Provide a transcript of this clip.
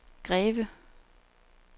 Greve